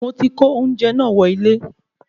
Moti ko oúnjẹ naa wọ ilẹ